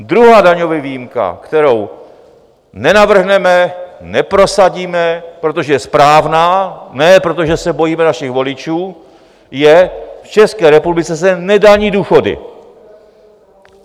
Druhá daňová výjimka, kterou nenavrhneme , neprosadíme , protože je správná, ne protože se bojíme našich voličů, je: v České republice se nedaní důchody.